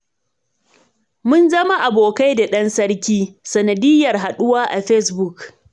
Mun zama abokai da ɗan sarki, sanadiyyar haɗuwa a fesbuk.